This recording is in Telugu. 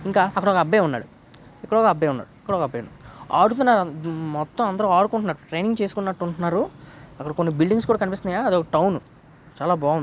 ఒక అబ్బాయి ఉన్నాడు. ఆడుతున్నారు మొత్తం అందరూ వాడుకుంటున్నారు. ట్రైనింగ్ చేసుకుంటున్నట్టు ఉన్నారు. అక్కడ కొన్ని బిల్డింగ్స్ కూడా కనిపిస్తున్నాయా? అది ఒక టౌను చాలా బాగుంది.